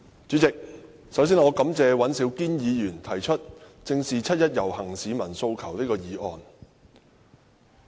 主席，首先，我感謝尹兆堅議員提出"正視七一遊行市民的訴求"這項議案。